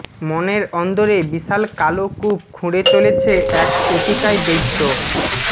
মনের অন্দরে বিশাল কালো কূপ খুঁড়ে চলেছে এক অতিকায় দৈত্য